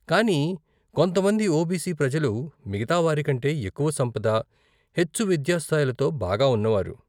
కానీ కొంతమంది ఓబీసీ ప్రజలు మిగతా వారికంటే ఎక్కువ సంపద, హెచ్చు విద్యా స్థాయిలతో బాగా ఉన్నవారు.